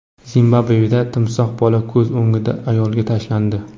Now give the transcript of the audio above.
Zimbabveda timsoh bola ko‘z o‘ngida ayolga tashlandi.